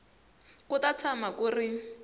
ku ta tshama ku ri